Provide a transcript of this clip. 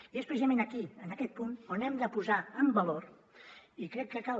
i és precisament aquí en aquest punt on hem de posar en valor i crec que cal